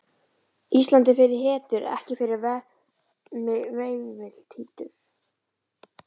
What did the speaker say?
Ísland er fyrir hetjur, ekki fyrir veimiltítur.